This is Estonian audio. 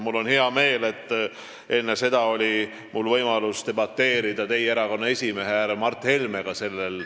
Mul on hea meel, et enne oli mul võimalus sellel teemal debateerida teie erakonna esimehe härra Mart Helmega.